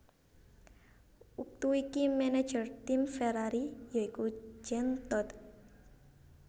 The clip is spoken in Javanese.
Wektu iki manajer tim Ferrari ya iku Jean Todt